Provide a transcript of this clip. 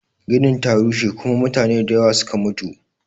Ginin ta rushe kuma mutane da yawa suke mutu